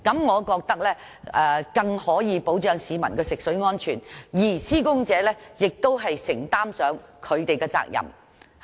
我認為這樣更可以保障市民的食水安全，而施工者亦要承擔其責任。